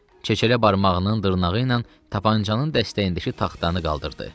Çeçələ barmağının dırnağı ilə tapançanın dəstəyindəki taxtanı qaldırdı.